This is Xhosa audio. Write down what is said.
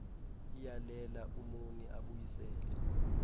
iyalela umoni abuyisele